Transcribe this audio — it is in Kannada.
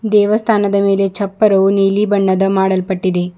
ದೇವಸ್ಥಾನದ ಮೇಲೆ ಚಪ್ಪರು ನೀಲಿ ಬಣ್ಣದ ಮಾಡಲ್ಪಟ್ಟಿದೆ.